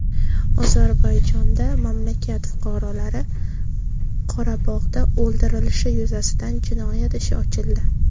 Ozarbayjonda mamlakat fuqarolari Qorabog‘da o‘ldirilishi yuzasidan jinoyat ishi ochildi.